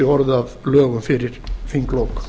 orðið að lögum fyrir þinglok